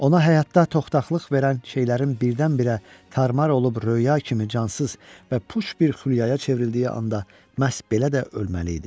Ona həyatda toxdaqlıq verən şeylərin birdən-birə tarmar olub röya kimi cansız və puç bir xülyaya çevrildiyi anda məhz belə də ölməli idi.